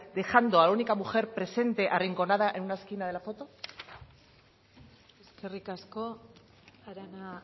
dejando a la única mujer presente arrinconada en una esquina de la foto eskerrik asko arana